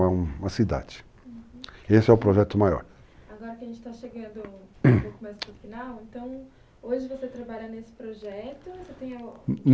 Uma cidade, uhum, esse é o projeto maior. Agora que a gente está chegando um pouco mais para o final, então, hoje você trabalha nesse projeto? você tem